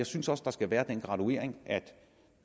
synes at der skal være den graduering at